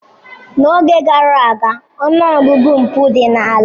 N'oge gara aga, ọnụ ọgụgụ mpụ dị ala.